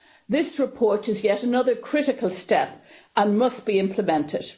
This report is yet another critical step and must be implemented.